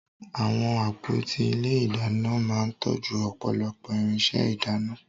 Àwọn àpótí ilé ìdáná máa ń tọ́jú ọ̀pọ̀lọpọ̀ irinṣẹ́ ìdáná